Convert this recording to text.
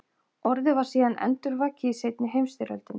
Orðið var síðan endurvakið í seinni heimsstyrjöldinni.